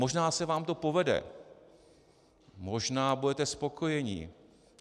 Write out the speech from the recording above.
Možná se vám to povede, možná budete spokojeni.